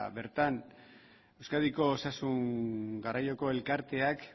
bertan euskadiko osasun garraioko elkarteak